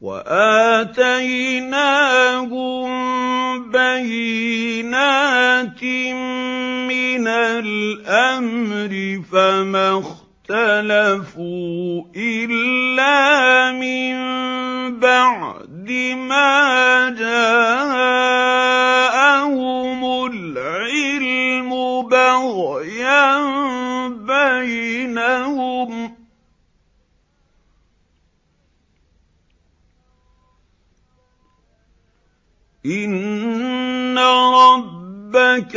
وَآتَيْنَاهُم بَيِّنَاتٍ مِّنَ الْأَمْرِ ۖ فَمَا اخْتَلَفُوا إِلَّا مِن بَعْدِ مَا جَاءَهُمُ الْعِلْمُ بَغْيًا بَيْنَهُمْ ۚ إِنَّ رَبَّكَ